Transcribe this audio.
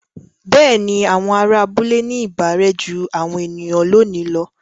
Bẹ́ẹ̀ni, àwọn ará abúlé ní ìbárẹ́ jú àwọn ènìyàn lónìí lọ.